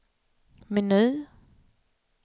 meny